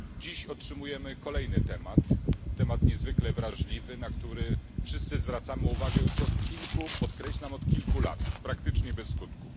Dziś otrzymujemy kolejny temat, niezwykle wrażliwy, na który wszyscy zwracamy uwagę już od kilku podkreślam od kilku lat praktycznie bez skutku.